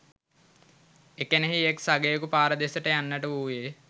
එකෙනෙහි එක්‌ සගයකු පාර දෙසට යන්නට වූයේ